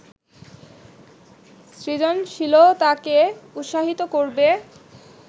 সৃজনশীলতাকে উৎসাহিত করবে